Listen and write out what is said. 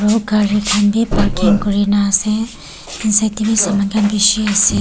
kari kan bi parking kurina ase inside dae bi saman kan bishi ase.